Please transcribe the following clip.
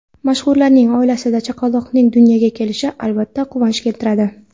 Mashhurlarning oilasida chaqaloqning dunyoga kelishi, albatta, quvonch keltiradi.